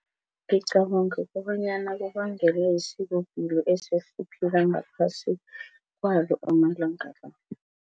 Ngicabanga kobanyana kubangelwa yisikopilo esesiphila ngaphasi kwayo amalanga la.